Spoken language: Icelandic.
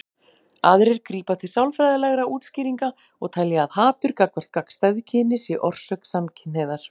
Aðrir grípa til sálfræðilegra útskýringa og telja að hatur gagnvart gagnstæðu kyni sé orsök samkynhneigðar.